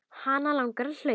Hana langar að hlaupa.